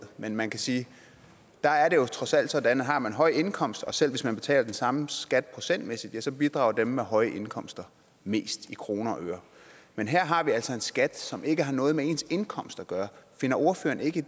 men man kan sige at der er det jo trods alt sådan at har man en høj indkomst og selv hvis man betaler den samme skat procentmæssigt så bidrager dem med høje indkomster mest i kroner og øre men her har vi altså en skat som ikke har noget med ens indkomst at gøre finder ordføreren ikke